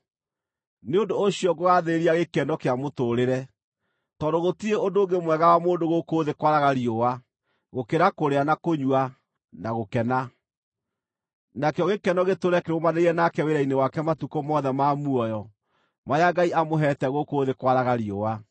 Nĩ ũndũ ũcio ngũgaathĩrĩria gĩkeno kĩa mũtũũrĩre, tondũ gũtirĩ ũndũ ũngĩ mwega wa mũndũ gũkũ thĩ kwaraga riũa gũkĩra kũrĩa, na kũnyua, na gũkena. Nakĩo gĩkeno gĩtũũre kĩrũmanĩrĩire nake wĩra-inĩ wake matukũ mothe ma muoyo marĩa Ngai amũheete gũkũ thĩ kwaraga riũa.